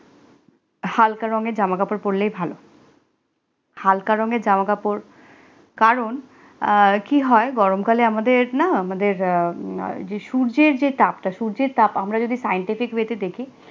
হালকা রঙের জামা কাপড় পড়লেই ভালো হালকা রঙের জামা কাপড় কারণ আর কি হয় গরমকালে আমাদের আমাদের যে সূর্যের জে তাপ, সূর্যের তাপ আমরা যদি scientific way তে দেখি